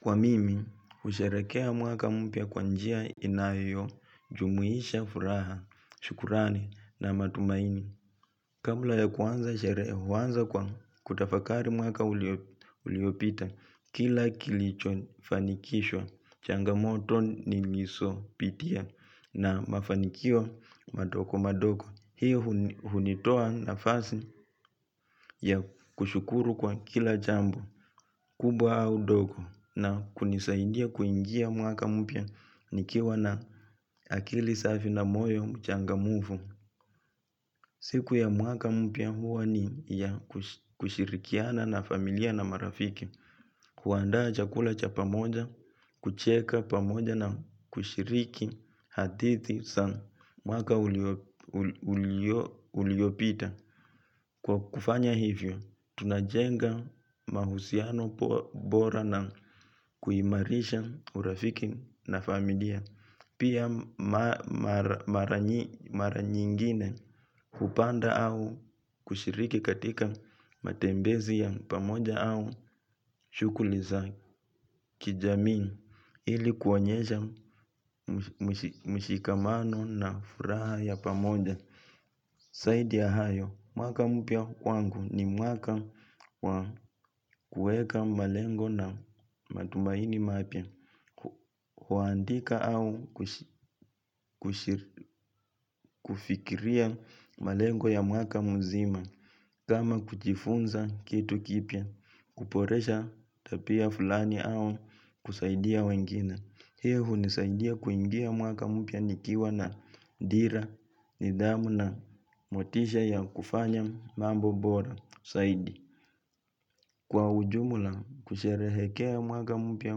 Kwa mimi, husherekea mwaka mpya kwa njia inayojumuisha furaha, shukrani na matumaini. Kabla ya kuanza sherehe huanza kwa kutafakari mwaka uliopita, kila kilichofanikishwa, changamoto nilisopitia na mafanikio madoko madoko. Hiyo hunitoa nafasi ya kushukuru kwa kila jambo, kubwa au dogo na kunisaidia kuingia mwaka mpya nikiwa na akili safi na moyo mchangamfu. Siku ya mwaka mpya huwa ni ya kushirikiana na familia na marafiki, kuandaa chakula cha pamoja, kucheka pamoja na kushiriki hatithi sa mwaka uliopita. Kwa kufanya hivyo, tunajenga mahusiano bora na kuimarisha urafiki na familia. Pia mara nyingine kupanda au kushiriki katika matembezi ya pamoja au shughuli za kijamii ili kuonyesha mshikamano na furaha ya pamoja. Saidi ya hayo, mwaka mpya wangu ni mwaka wa kueka malengo na matumaini mapya, kuandika au kufikiria malengo ya mwaka mzima, kama kujifunza kitu kipya, kuporesha tapia fulani au kusaidia wengine. Hii hunisaidia kuingia mwaka mpya nikiwa na dira, nidhamu na motisha ya kufanya mambo bora, saidi. Kwa ujumla kusherehekea mwaka mpya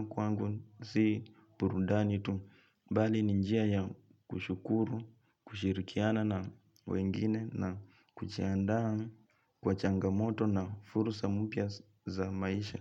kwangu si purudani tu. Bali ni njia ya kushukuru, kushirikiana na wengine na kuchiandaa kwa changamoto na fursa mpya za maisha.